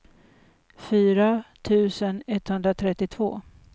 fyra tusen etthundratrettiotvå